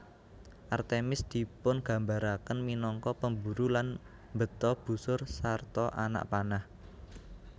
Artemis dipungambaraken minangka pemburu lan mbeta busur sarta anak panah